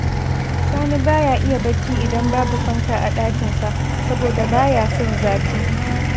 Sani ba ya iya barci idan babu fanka a ɗakinsa, saboda ba ya son zafi